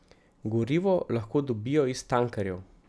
Gorivo lahko dobijo iz tankerjev.